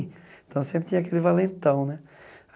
Então sempre tinha aquele valentão, né?